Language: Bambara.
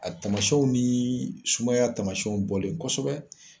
A tamaw ni sumaya tamasiɲɛw bɔlen kosɛbɛ.